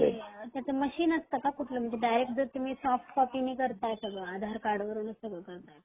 म्हणजे त्याच मशीन असत का कुठल म्हणजे तुम्ही डायरेक्ट सोफ्ट कॉपी न करताय सगळ आधार कार्ड वर हे सगळ करताय तर